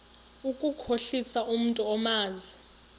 ukukhohlisa umntu omazi